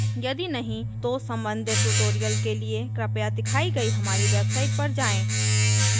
यदि नहीं तो संबंधित tutorials के लिए कृपया दिखाई गए हमारी website पर जाएँ